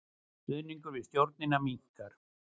Stuðningur við stjórnina minnkar